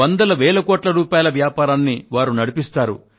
వందల వేల కోట్ల రూపాయల వ్యాపారాన్ని వారు నడిపిస్తారు